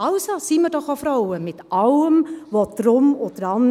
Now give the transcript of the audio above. Also, seien wir doch auch Frauen, mit allem Drum und Dran.